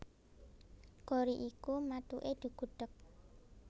Gori iku mathuke digudhèg